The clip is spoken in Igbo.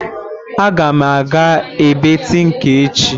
Aga m aga ebe tinka echi